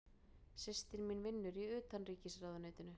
Systir mín vinnur í Utanríkisráðuneytinu.